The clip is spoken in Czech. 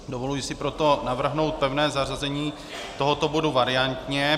Dovoluji si proto navrhnout pevné zařazení tohoto bodu variantně.